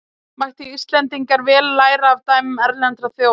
Mættu Íslendingar vel læra af dæmum erlendra þjóða.